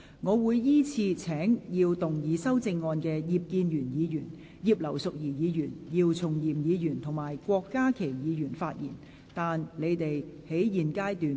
我會依次請要動議修正案的葉建源議員、葉劉淑儀議員、姚松炎議員及郭家麒議員發言；但他們在現階段不可動議修正案。